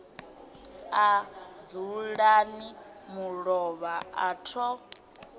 a dzulani mulovha a tho